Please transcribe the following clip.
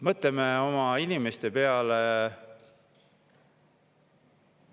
Mõtleme oma inimeste peale!